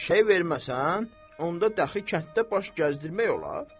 Eşşəyi verməsən, onda dəxi kənddə baş gəzdirmək olar.